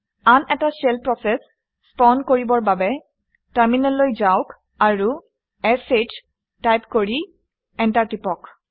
আন এটা shell process spawn কৰিবৰ বাবে টাৰমিনেললৈ যাওক আৰু শ টাইপ কৰি এণ্টাৰ টিপক